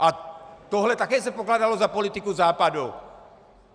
A tohle se také pokládalo za politiku Západu.